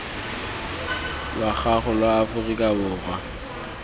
lwa gago lwa aforika borwa